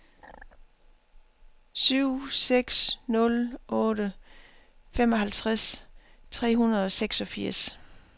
syv seks nul otte femoghalvtreds tre hundrede og seksogfirs